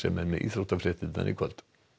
er með íþróttafréttir í kvöld